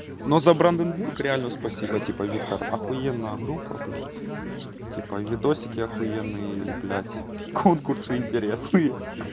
но за бранденбург реально спасибо типа виктор ахуенная группа блядь типа видосики ахуенные и блядь конкурсы интересные